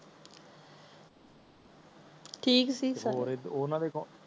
ਠੀਕ ਸੀ ਸਬ